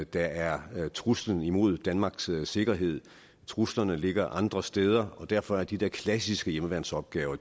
der er truslen imod danmarks sikkerhed truslerne ligger andre steder og derfor er de der klassiske hjemmeværnsopgaver